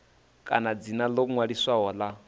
kana dzina ḽo ṅwaliswaho ḽa